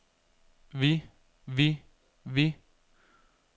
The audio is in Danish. vi vi vi